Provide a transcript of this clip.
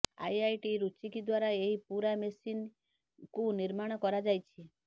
IIT Roorkee ଦ୍ୱାରା ଏହି ପୁରା ମେସିନ୍ କୁ ନିର୍ମାଣ କରାଯାଇଛି